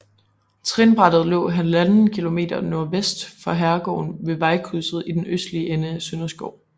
Trinbrættet lå 1½ km nordvest for herregården ved vejkrydset i den østlige ende af Sønderskov